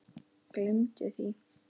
Gleymdu því!